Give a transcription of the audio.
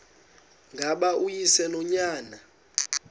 ngaba uyise nonyana